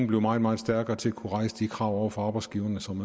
blive meget meget stærkere til at kunne rejse de krav over for arbejdsgiverne som